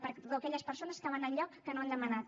perdó aquelles persones que van al lloc que no han demanat